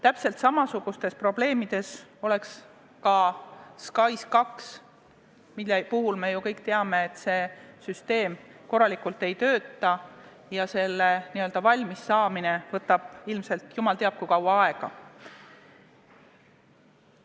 Täpselt samasuguste probleemide käes oleks ka SKAIS2, mille puhul me ju kõik teame, et see süsteem korralikult ei tööta ja selle valmissaamine võtab ilmselt jumal teab kui kaua aega.